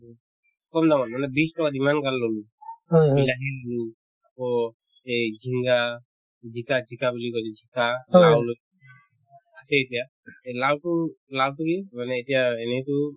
কম দামত মানে বিশ টকাত ইমান গাল ললো বিলাহী ললো আকৌ এই জিংগা জিকা জিকা বুলি কই যে জিকা লাউ লৈছো সেই এতিয়া এই লাউতো লাউৰ পুলি মানে এতিয়া এনেতো